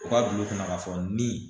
U ka don u kunna k'a fɔ nin